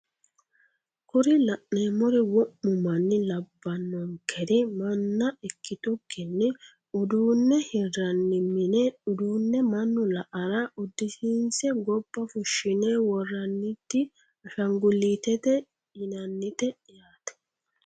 kuri la'neemori wo'mu manna labbanonkeri manna ikkitukkinni uduune hiranni mine uduune manu la"ara uddisiinse gobba fushshine worranniti ashanguliitete yinannite yaate.